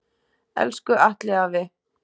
Elsku Atli afi.